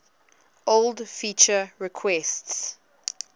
old feature requests